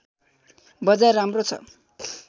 बजार राम्रो छ